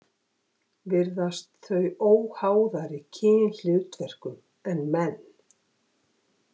Virðast þau óháðari kynhlutverkum en menn.